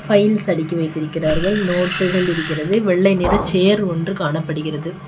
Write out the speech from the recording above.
Files அடுக்கி வைத்திருக்கிறார்கள் நோட்டுகள் இருக்கிறது வெள்ளை நிற சேர் ஒன்று காணப்படுகிறது.